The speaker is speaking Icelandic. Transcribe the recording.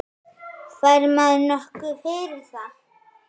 Fær maður nokkuð fyrir það?